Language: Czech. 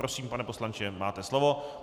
Prosím, pane poslanče, máte slovo.